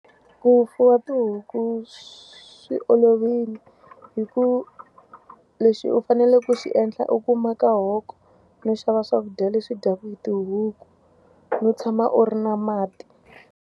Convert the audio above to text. Ku fuwa tihuku swi olovile hikuva leswi u faneleke ku xi endla i ku maka hoko, no xava swakudya leswi dyaka hi tihuku, no tshama u ri na mati.